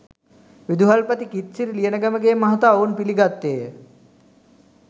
විදුහල්පති කිත්සිරි ලියනගමගේ මහතා ඔවුන් පිළිගත්තේය